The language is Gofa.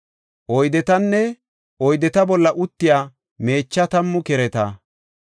oydetanne oydeta bolla uttiya meecha tammu kereta,